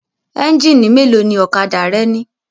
Ẹ́ńjínì mélòó ni ọ̀kadà rẹ ní?